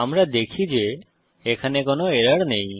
আমরা দেখি যে এখানে কোনো এরর নেই